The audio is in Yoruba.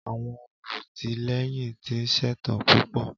Àwọn olùtìlẹ́yìn ti ṣetán púpọ̀.